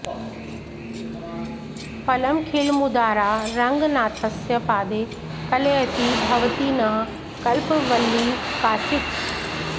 फलमखिलमुदारा रङ्गनाथस्य पादे कलयति भवती नः कल्पवल्लीव काचित्